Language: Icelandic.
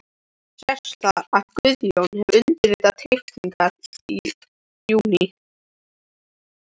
Sést þar, að Guðjón hefur undirritað teikningarnar í júní